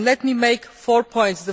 Let me make four points.